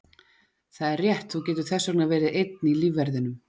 Það er rétt, þú getur þess vegna verið einn í lífverðinum.